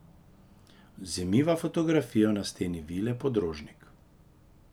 Vzemiva fotografijo na steni Vile Podrožnik.